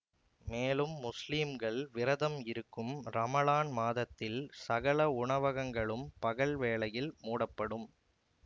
மேலும் முஸ்லிம்கள் விரதம் இருக்கும் ரமழான் மாதத்தில் சகல உணவகங்களும் பகல் வேளையில் மூடப்படும்